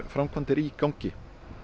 framkvæmdir í gangi